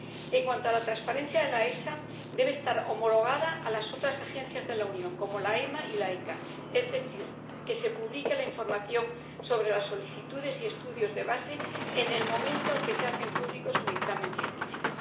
En cuanto a la transparencia de la EFSA, debe estar homologada a otras Agencias de la Unión como la EMA y la ECHA, es decir, que debe publicarse la información sobre las solicitudes y estudios de base en el momento en que se hace público su dictamen científico.